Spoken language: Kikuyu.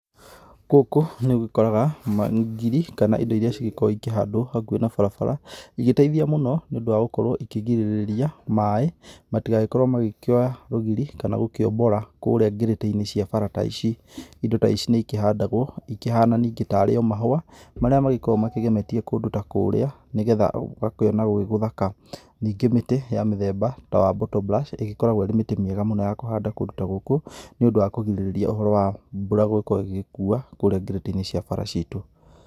Gũkũ, nĩũgĩkoraga ngiri, kana indo iria cigĩkoo ikĩhandwo hakuhĩ na barabara igĩteithia mũno, nĩũndũ wa gũkorwo ikĩgirĩria maĩ, matigagĩkorwo magĩkĩoya rũgiri kana gũkĩombora kũrĩa ngĩrĩtĩ-inĩ cia bara ta ici, indo ta ici nĩikĩhandagwo ikĩhaana ningĩ tari o mahũa marĩa magĩkoragwo makĩgemetie kũndũ ta kũũrĩa, nĩgetha ũgakĩona gwĩ gũthaka, ningĩ mĩtĩ ya mĩthemba ta wa botobrac, ĩgĩkoragwo ĩrĩ mĩtĩ mĩega mũno ya kũhanda kũndũ ta gũkũ, nĩũndũ wa kũgirĩrĩria ũhoro wa mbura gũgĩkorwo ĩgĩkuua kũũrĩa ngĩrĩtĩ-inĩ cia bara ciitũ.